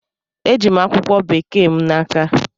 E ji'm akwụkwọ Bekee m n'aka.